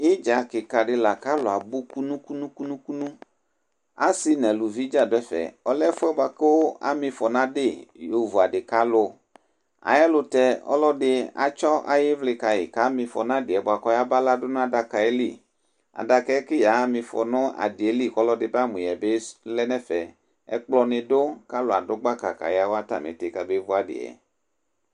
idza keka di la k'alò abu kunu kunu kunu asi n'aluvi dza du ɛfɛ ɔlɛ ɛfua boa kò amifɔ n'adi yo vu adi k'alò ayi ɛlutɛ ɔlò ɛdi atsɔ ayi ivli ka yi k'amifɔ n'adi yɛ boa k'ɔya ba la du n'adaka yɛ li adaka yɛ kò ya ma ifɔ no adi yɛ li k'ɔlò ɛdi ba mo yɛ bi lɛ n'ɛfɛ ɛkplɔ ni du k'alò adu gbaka ka ya wa atami iti ka be vu adi yɛ.